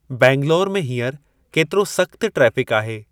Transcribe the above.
बेंगलौर में हींअर केतिरो सख़्तु ट्रेफ़िकु आहे।